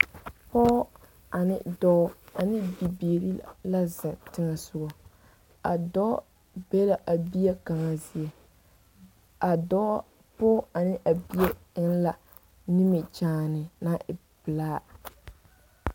Pɔge ane dɔɔ ane bibiiri la zeŋ teŋɛsogɔ a dɔɔ be la a bie kaŋa zie a dɔɔ pɔge ane a bie eŋ la nimikyaane naŋ e pelaa.